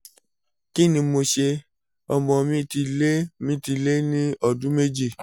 kí ni mo ṣe? ọmọ mi ti lé mi ti lé ní ọdún méjì